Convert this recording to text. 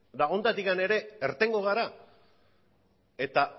eta honetatik ere irtengo gara eta